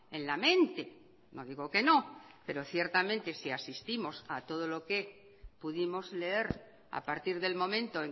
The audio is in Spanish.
en la mente no digo que no pero ciertamente si asistimos a todo lo que pudimos leer a partir del momento